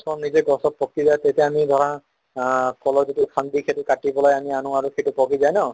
নিজে গছত পকিলে তেতিয়া আমি ধৰা অ কলৰ যিটো সান্দি সেইটো কাটি পেলাই আমি আনো আৰু সেইটো পকি যাই ন